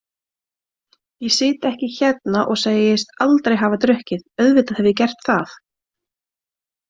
Ég sit ekki hérna og segist aldrei hafa drukkið, auðvitað hef ég gert það.